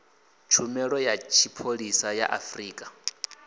tshumelo ya tshipholisa ya afrika